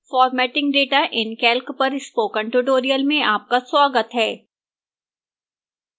formatting data in calc पर spoken tutorial में आपका स्वागत है